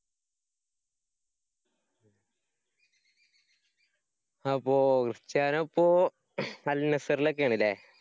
അപ്പോ ക്രിസ്റ്റ്യാനോ ഇപ്പോ അല്‍ നസര്‍ലെക്കാണല്ലേ?